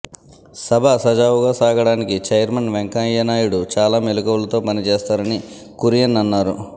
సభ సజావుగా సాగడానికి చైర్మన్ వెంకయ్య నాయుడు చాలా మెళకువలతో పని చేస్తారని కురియన్ అన్నారు